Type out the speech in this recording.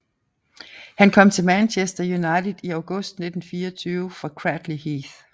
Han kom til Manchester United i august 1924 fra Cradley Heath